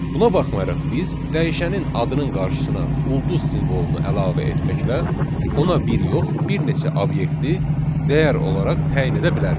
Buna baxmayaraq biz dəyişənin adının qarşısına ulduz simvolunu əlavə etməklə ona bir yox, bir neçə obyekti dəyər olaraq təyin edə bilərik.